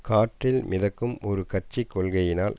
காற்றில் மிதக்கும் ஒரு கட்சி கொள்கைகளினால்